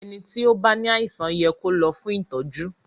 ẹní tí o bá ní àìsàn yẹ kò ló fún ìtọjú.